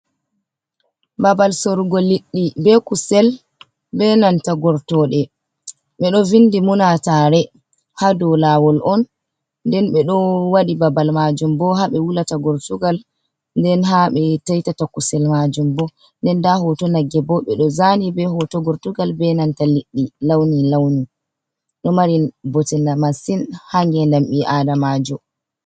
Babal sorugo liɗɗi be kusel be nanta gortoɗe ɓeɗo vindi munatare ha do lawol on, nden ɓeɗo waɗi babal majum bo ha ɓe wulata gortugal, nden ha ɓe taitata kusel majum bo nden nda hoto nagge bo ɓe ɗo zani be hoto gortugal be nanta liɗɗi launi launi, ɗo marin bote masin ha ngendam ɓi adamajo.